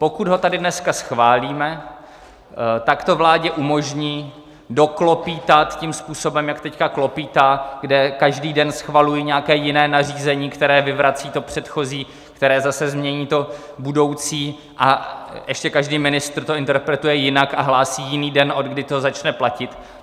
Pokud ho tady dneska schválíme, tak to vládě umožní doklopýtat tím způsobem, jak teď klopýtá, kde každý den schvalují nějaké jiné nařízení, které vyvrací to předchozí, které zase změní to budoucí, a ještě každý ministr to interpretuje jinak a hlásí jiný den, odkdy to začne platit.